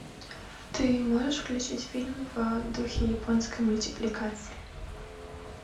ты можешь включить фильм в духе японской мультипликации